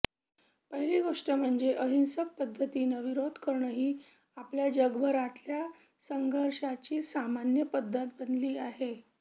पहिली गोष्ट म्हणजे अहिंसक पद्धतीनं विरोध करणं ही आता जगभरातल्या संघर्षाची सामान्य पद्धत बनली आहे